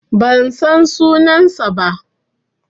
Ban san sunansa ba.